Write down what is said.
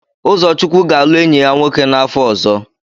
Ụzọchukwu ga-alụ enyi ya nwoke n'afọ ọzọ.